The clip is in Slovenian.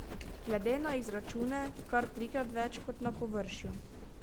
Glede na izračune kar trikrat več kot na površju.